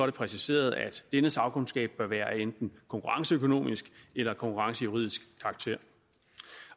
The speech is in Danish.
det præciseret at denne sagkundskab bør være af enten konkurrenceøkonomisk eller konkurrencejuridisk karakter